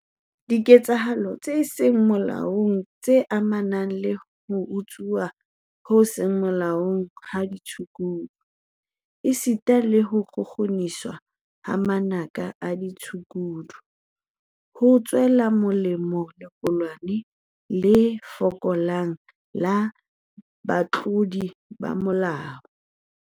Diketsahalo tse seng molaong tse amanang le ho tsongwa ho seng molaong ha ditshukudu esita le ho kgukguniswa hwa manaka a ditshukudu, ho tswela molemo lequlwana le fokolang la batlodi ba molao.